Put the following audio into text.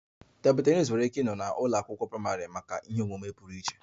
A table tennis nwere ike ịnọ na a ụlọ akwụkwọ praịmarị maka extracurricular omume